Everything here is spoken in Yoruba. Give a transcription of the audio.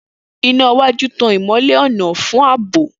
Ina iwaju tan ìmọ́lẹ̀ ọ̀nà fún ààbò.